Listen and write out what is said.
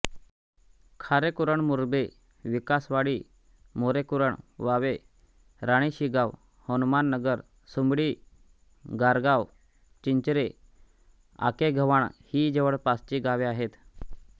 खारेकुरण मुरबे विकासवाडी मोरेकुरण वावे राणीशिगाव हनुमाननगर सुमडी गारगाव चिंचरे आकेगव्हाण ही जवळपासची गावे आहेत